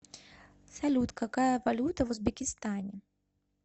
салют какая валюта в узбекистане